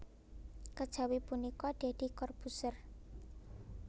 Kejawi punika Deddy Corbuzier